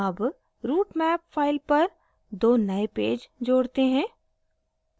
add routemap file पर 2 नए page जोड़ते हैं